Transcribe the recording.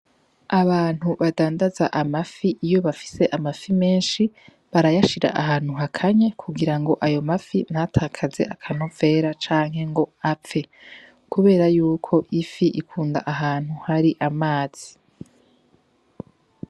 Abantu badandaza amafi iyo bafise amafi menshi barayashira ahantu hakanye kugira ayo mafi ntatakaze akanovera canke ngo apfe kubera yuko ifi ikunda ahantu hari amazi